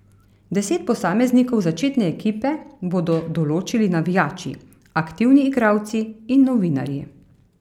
Deset posameznikov začetne ekipe bodo določili navijači, aktivni igralci in novinarji.